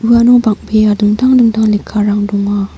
uano bang·bea dingtang dingtang lekkarang donga.